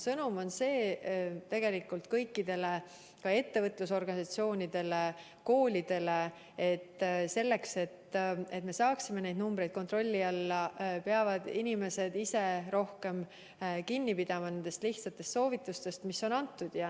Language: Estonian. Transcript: Sõnum on tegelikult kõikidele, ka ettevõtlusorganisatsioonidele ja koolidele, et selleks, et me saaksime need numbrid kontrolli alla, peavad inimesed ise rohkem kinni pidama nendest lihtsatest soovitustest, mis on antud.